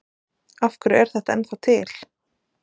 Af hverju er þetta ennþá til?